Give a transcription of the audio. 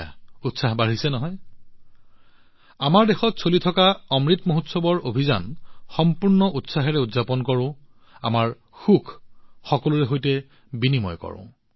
উৎসাহ বাঢ়িছেনে আহক আমি আমাৰ দেশত চলি থকা অমৃত মহোৎসৱৰ প্ৰচাৰ সম্পূৰ্ণ উৎসাহেৰে উদযাপন কৰোঁ আমাৰ সুখ সকলোৰে সৈতে ভাগ বতৰা কৰোঁ আহক